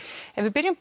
ef við byrjum